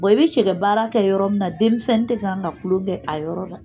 i bɛ cɛgɛ baara kɛ yɔrɔ min na denmisɛnnin tɛ ka kan ka kulon kɛ a yɔrɔ la